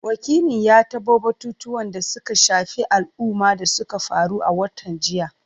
Wakilin ya tabo batutuwan da suka shafi al’umma da suka faru a watan jiya.